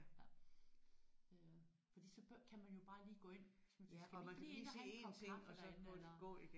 Ja øh fordi så kan man jo bare lige gå ind hvis man skal vi ikke lige ind og have en kop kaffe derinde eller